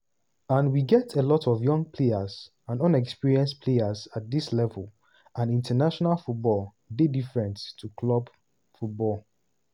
and we get a lot of young players and inexperienced players at dis level and international football dey different to club football.